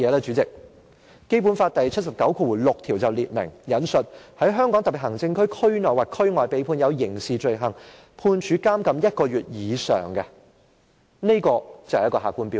主席，《基本法》第七十九條第六項列明，我引述："在香港特別行政區區內或區外被判有刑事罪行，判處監禁一個月以上"，這就是客觀標準。